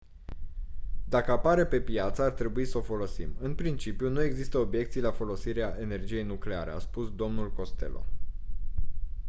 dacă apare pe piață ar trebui s-o folosim în principiu nu există obiecții la folosirea energiei nucleare a spus dl costello